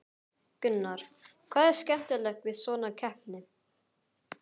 Gunnar: Hvað er skemmtilegast við svona keppni?